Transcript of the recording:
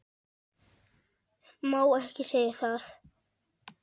Má ekki segja það?